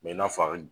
Mɛ i n'a fɔ a bɛ